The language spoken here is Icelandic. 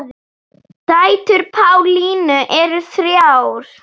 Dætur Pálínu eru þrjár.